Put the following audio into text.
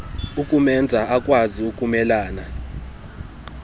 ukumenza akwazi ukumelana